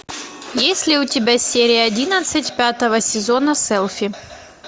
есть ли у тебя серия одиннадцать пятого сезона селфи